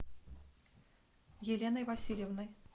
еленой васильевной